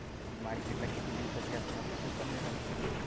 ती मार्केटला किती दिवसाची असणार ते तू पण नाही सांगू शकत.